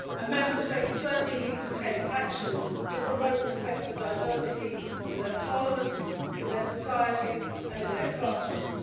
Member States certainly need to take action to promote respect for diversity in their parliaments, in their societies and in their classrooms.